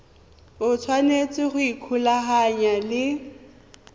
o tshwanetse go ikgolaganya le